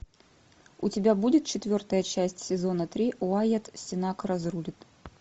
у тебя будет четвертая часть сезона три уайат сенак разрулит